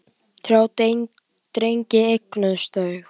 Þrjá drengi eignuðust þau.